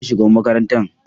Ni ne shugaban makarantar